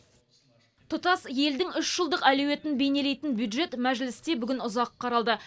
тұтас елдің үш жылдық әлеуетін бейнелейтін бюджет мәжілісте бүгін ұзақ қаралды